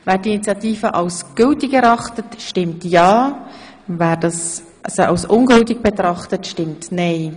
Wer die Initiative für gültig erachtet, stimmt ja, wer sie für ungültig erachtet, stimmt nein.